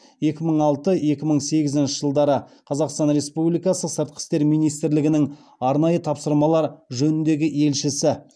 екі мың алты екі мың сегізінші жылдары қазақстан республикасы сыртқы істер министрлігінің арнайы тапсырмалар жөніндегі елшісі